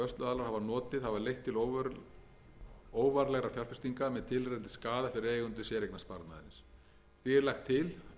hafi leitt til óvarlegra fjárfestinga með tilheyrandi skaða fyrir eigendur séreignarsparnaðarins því er lagt til bæði í